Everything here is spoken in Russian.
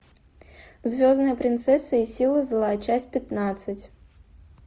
звездная принцесса и силы зла часть пятнадцать